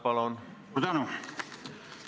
Ma tänan!